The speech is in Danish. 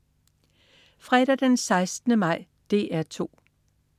Fredag den 16. maj - DR 2: